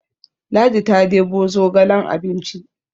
Ladi ta debo zogalen abinci